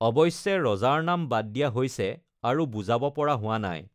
অৱশ্যে, ৰজাৰ নাম বাদ দিয়া হৈছে আৰু বুজাব পৰা হোৱা নাই।